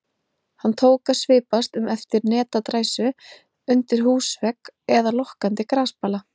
Hann tók að svipast um eftir netadræsu undir húsvegg eða lokkandi grasbala.